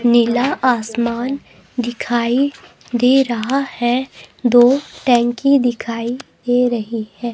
नीला आसमान दिखाई दे रहा है दो टंकी दिखाई दे रही है।